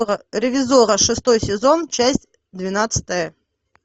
ревизорро шестой сезон часть двенадцатая